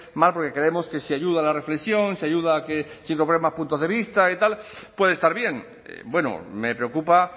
mal porque creemos que se ayuda a la reflexión se ayuda a que se incorporen más puntos de vista y tal puede estar bien bueno me preocupa